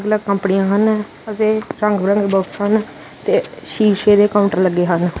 ਕੰਪਨੀਆਂ ਹਨ ਅਤੇ ਰੰਗ ਬਰੰਗੇ ਬਾਕਸ ਹਨ ਤੇ ਸ਼ੀਸ਼ੇ ਦੇ ਕਾਊਂਟਰ ਲੱਗੇ ਹਨ।